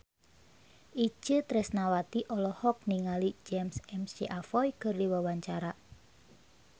Itje Tresnawati olohok ningali James McAvoy keur diwawancara